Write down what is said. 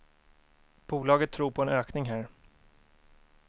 Bolaget tror på en ökning här.